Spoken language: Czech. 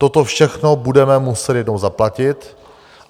Toto všechno budeme muset jednou zaplatit.